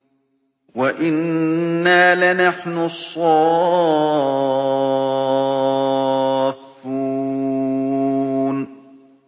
وَإِنَّا لَنَحْنُ الصَّافُّونَ